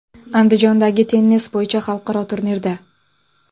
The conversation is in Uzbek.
Andijondagi tennis bo‘yicha xalqaro turnirda.